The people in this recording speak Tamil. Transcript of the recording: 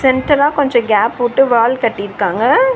சென்டரா கொஞ்சோ கேப்வுட்டு வால் கட்டியிருக்காங்க.